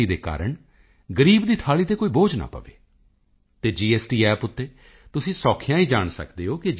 ਦੇ ਕਾਰਣ ਗਰੀਬ ਦੀ ਥਾਲੀ ਤੇ ਕੋਈ ਬੋਝ ਨਾ ਪਏ ਅਤੇ ਜੀਐਸਟੀ App ਉੱਤੇ ਤੁਸੀਂ ਸੌਖਿਆਂ ਹੀ ਜਾਣ ਸਕਦੇ ਹੋ ਕਿ ਜੀ